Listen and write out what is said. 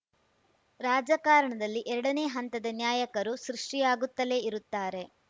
ರಾಜಕಾರಣದಲ್ಲಿ ಎರಡನೇ ಹಂತದ ನ್ಯಾಯಕರು ಸೃಷ್ಟಿಯಾಗುತ್ತಲೇ ಇರುತ್ತಾರೆ